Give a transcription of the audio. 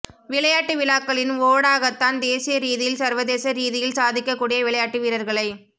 விளையாட்டு விழாக்களின் ஊடாகத்தான் தேசிய ரீதியில் சர்வதேச ரீதியில் சாதிக்க கூடிய விளையாட்டு வீரர்களை